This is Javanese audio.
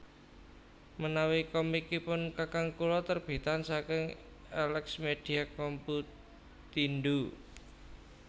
Menawi komikipun kakang kula terbitan saking Elexmedia Computindo